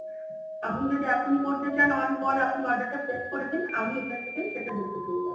আপনি যদি এখনই করতে চান on call order টা প্রেস করে দিন আমি এখন থেকে সেটা দেখতে পেয়ে যাবো